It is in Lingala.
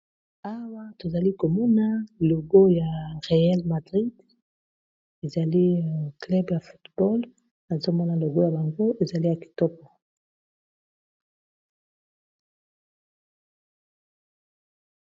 Awa tozali komona logo ya reyel madrid ezali club ya fotball azomona logo ya bango ezali ya kitoko.